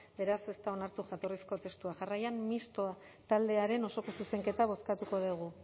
beraz ez da onartu jatorrizko testua jarraian mistoa taldearen osoko zuzenketa bozkatuko dugu